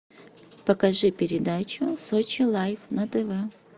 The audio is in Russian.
покажи передачу сочи лайф на тв